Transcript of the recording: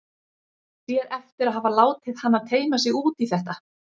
Sér eftir að hafa látið hana teyma sig út í þetta.